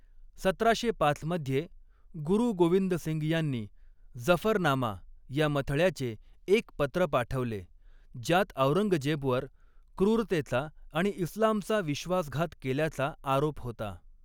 सतराशे पाच मध्ये, गुरु गोविंद सिंग यांनी जफरनामा या मथळ्याचे एक पत्र पाठवले, ज्यात औरंगजेबवर क्रूरतेचा आणि इस्लामचा विश्वासघात केल्याचा आरोप होता.